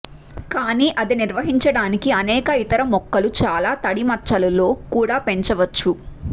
కానీ అది నిర్వహించడానికి అనేక ఇతర మొక్కలు చాలా తడి మచ్చలు లో కూడా పెంచవచ్చు